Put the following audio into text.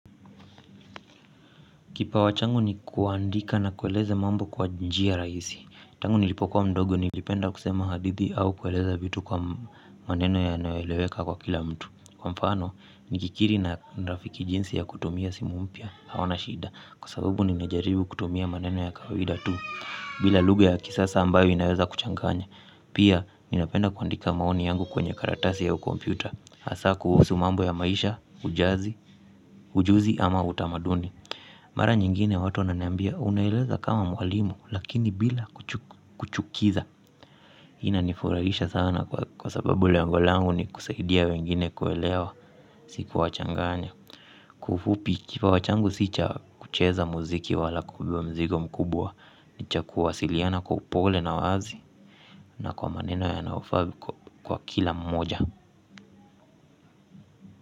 Kipawa changu ni kuandika na kueleza mambo kwa njia rahisi, tangu nilipokuwa mdogo nilipenda kusema hadithi au kueleza vitu kwa maneno yanayoeleweka kwa kila mtu. Kwa mfano, nikikiri na rafiki jinsi ya kutumia simu mpya, hawana shida, kwa sababu ninajaribu kutumia maneno ya kawaida tu. Bila lugha ya kisasa ambayo inaweza kuchanganya, pia ninapenda kuandika maoni yangu kwenye karatasi ya ukompyuta. Hasa kuhusu mambo ya maisha, ujazi, ujuzi ama utamaduni. Mara nyingine watu wananiambia unaeleza kama mwalimu lakini bila kuchukiza. Hii inanifurahisha sana kwa sababu lengo langu ni kusaidia wengine kuelewa si kuwachanganya. Kwa ufupi kipawa changu si cha kucheza muziki wala kubebewa mzigo mkubwa. Ni cha kuwasiliana kwa upole na uwazi na kwa maneno yanayofaa kwa kila mmoja.